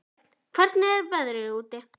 Björn, hvernig er veðrið úti?